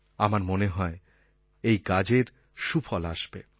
আমার মনে হয় এই কাজের সুফল আসবে